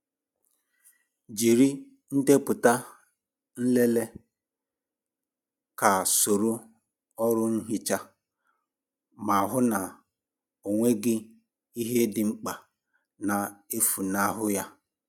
Jiri ndepụta nlele ka soro ọrụ nhicha ma hụ na ọ nweghị ihe dị mkpa na-efunahụ ya.